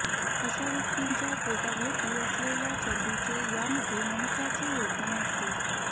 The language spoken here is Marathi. अशा व्यक्तींच्या पोटाभोवती असलेल्या चरबीचे यामध्ये महत्त्वाचे योगदान असते